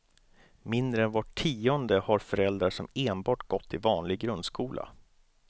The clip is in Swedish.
Mindre än var tionde har föräldrar som enbart gått i vanlig grundskola.